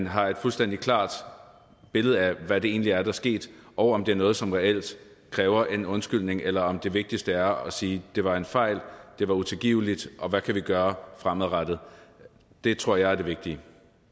har et fuldstændig klart billede af hvad der egentlig er er sket og om det er noget som reelt kræver en undskyldning eller om det vigtigste er at sige det var en fejl det var utilgiveligt hvad kan vi gøre fremadrettet det tror jeg er det vigtige